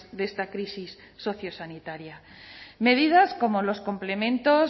de esta crisis sociosanitaria medidas como los complementos